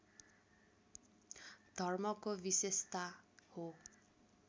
धर्मको विशेषता हो